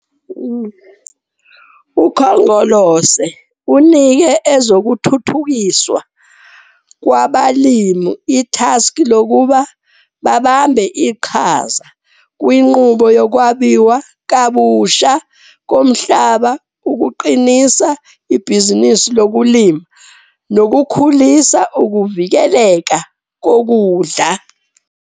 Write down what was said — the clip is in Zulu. Ukhongolose unike Ezokuthuthukiswa kwaBalimi ithaskhi lokuba babambe iqhaza kwinqubo yokwabiwa kabusha komhlaba, ukuqinisa ibhizinisi lokulima nokukhulisa ukuvikeleka kokudla.